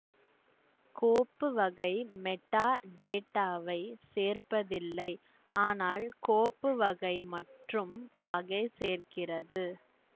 கோப்பு வகை மெட்டாடேட்டாவை சேர்ப்பதில்லை ஆனால் கோப்பு வகை மற்றும் வகை சேர்க்கிறது